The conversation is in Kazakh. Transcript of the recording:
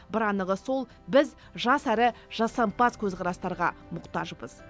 бір анығы сол біз жас әрі жасампаз көзқарастарға мұқтажбыз